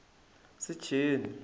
secheni